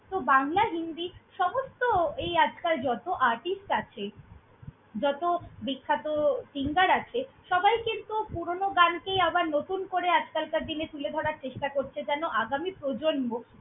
তো বাংলা, হিন্দি সমস্ত এই আজকাল যত artist আছে, যত বিখ্যাত singer আছে, সবাই কিন্তু পুরোনো গানকেই আবার নতুন করে আজকালকার দিনে তুলে ধরার চেষ্টা করছে যেন আগামী প্রজন্ম।